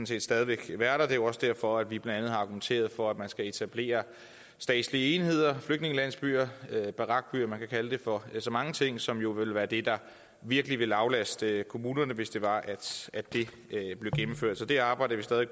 set stadig væk vil være der det er jo også derfor at vi blandt andet har argumenteret for at man skal etablere statslige enheder flygtningelandsbyer barakbyer man kan kalde dem for så mange ting som jo ville være det der virkelig ville aflaste kommunerne hvis det var at det blev gennemført så det arbejder vi stadig